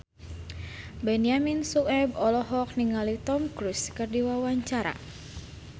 Benyamin Sueb olohok ningali Tom Cruise keur diwawancara